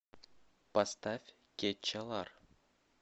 поставь кечалар